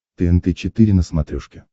тнт четыре на смотрешке